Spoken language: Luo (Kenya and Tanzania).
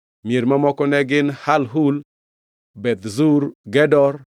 Mier mamoko ne gin: Halhul, Beth Zur, Gedor,